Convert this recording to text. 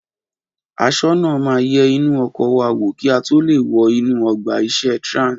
Aṣọ́nà máa yẹ inú ọkọ̀ wa wò kí a tó lè wọ inú ọgbà ìṣeré Trans